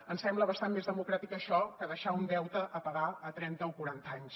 ens sembla bastant més democràtic això que deixar un deute a pagar a trenta o quaranta anys